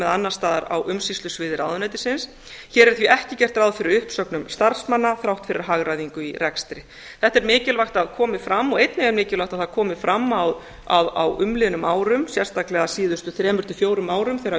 annars staðar á umsýslusviði ráðuneytisins hér er því ekki gert ráð fyrir uppsögnum starfsmanna þrátt fyrir hagræðingu í rekstri þetta er mikilvægt að komi fram og einnig er mikilvægt að það komi fram að á umliðnum árum sérstaklega síðustu þremur til fjórum árum þegar